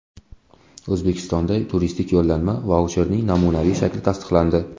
O‘zbekistonda turistik yo‘llanma vaucherning namunaviy shakli tasdiqlandi.